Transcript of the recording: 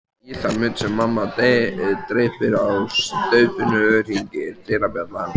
Í þann mund sem mamma dreypir á staupinu hringir dyrabjallan.